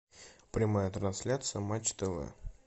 прямая трансляция матч тв